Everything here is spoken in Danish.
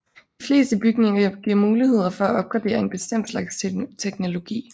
De fleste bygninger giver muligheder for at opgradere en bestemt slags teknologi